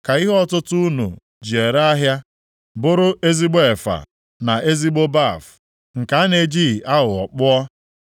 Ka ihe ọtụtụ unu ji ere ahịa unu bụrụ ezigbo efa na ezigbo baf + 45:10 Otu ihe ọtụtụ bat na-erite galọọnụ isii nke a na-ejighị aghụghọ kpụọ.